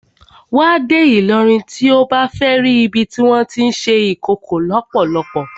Wà á dé Ìlọrin tí o bá fẹ́ ri ibi tí wọ́n tí ń ṣe Ìkòkò lọ́pọ́lọ́pọ́.